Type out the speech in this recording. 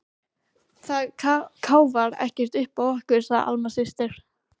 Það káfar ekkert uppá okkur, segir Alma systir.